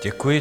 Děkuji.